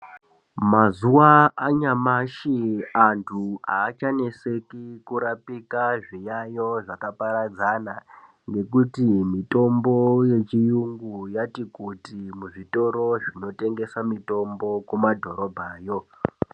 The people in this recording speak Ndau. Mazuva anyamashi antu achaneseki kurapika zvinyanyo zvakaparadzana ngekuti mitombo yechiyungu yatikuti muzvitoro zvinotengesa mitombo kumadhorobha yo.